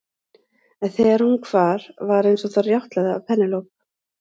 En þegar hún hvar var eins og það rjátlaði af Penélope.